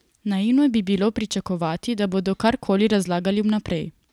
Naivno bi bilo pričakovati, da bodo kar koli razlagali vnaprej.